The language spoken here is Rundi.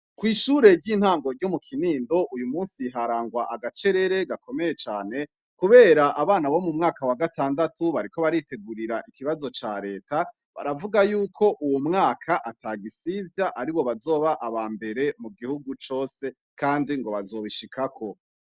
Kw'ishure ry'intango ryo mu kinindo uyu musi iharangwa agacerere gakomeye cane, kubera abana bo mu mwaka wa gatandatu bariko baritegurira ikibazo ca leta baravuga yuko uwu mwaka ata gisivya ari bo bazoba aba mbere mu gihugu cose, kandi ngo bazobishikako.